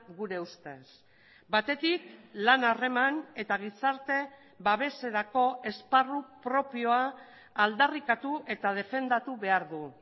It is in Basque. gure ustez batetik lan harreman eta gizarte babeserako esparru propioa aldarrikatu eta defendatu behar du